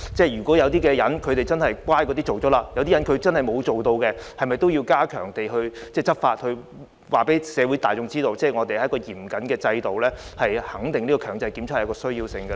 如果有些居民已經進行檢測，有些居民卻不肯，政府是否應該加強執法，從而告訴社會大眾這是嚴謹的制度，以及確認強制檢測的需要呢？